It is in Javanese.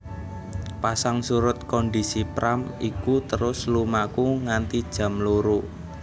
Pasang surut kondisi Pram iku terus lumaku nganti jam loro